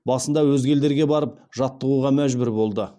басында өзге елдерге барып жаттығуға мәжбүр болды